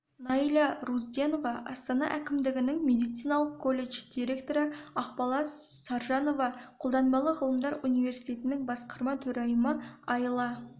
найля рузденова астана әкімдігінің медициналық колледж директоры ақбала саржанова қолданбалы ғылымдар университетінің басқарма төрайымы аила